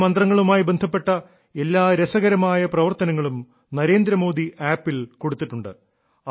ഈ മന്ത്രങ്ങളുമായി ബന്ധപ്പെട്ട എല്ലാ രസകരമായ പ്രവർത്തനങ്ങളും നരേന്ദ്രമോദി ആപ്പിൽ കൊടുത്തിട്ടുണ്ട്